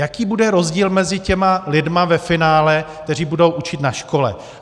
Jaký bude rozdíl mezi těmi lidmi ve finále, kteří budou učit na škole?